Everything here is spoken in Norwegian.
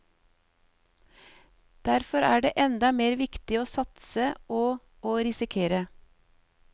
Derfor er det enda mer viktig å satse og å risikere.